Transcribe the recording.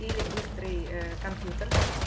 или быстрый ээ компьютер